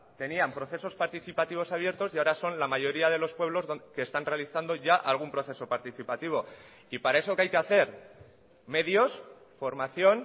tenían procesos participativos abiertos y ahora son la mayoría de los pueblos que están realizando ya algún proceso participativo y para eso qué hay que hacer medios formación